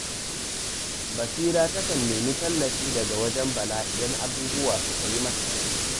Barira takan nemi tallafi daga wajen Bala idan abubuwa suka yi mata zafi